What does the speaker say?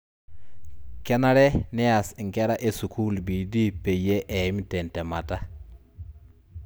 Kenare neas ingera esukuul bidii peyie eeyim te ntemata